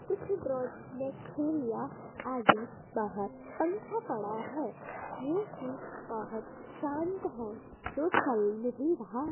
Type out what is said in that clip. कुछ ड्रोज में थैलियाँ आदि बाहर पंखा पड़ा है जो कि बहुत शांत है जो चल नहीं रहा।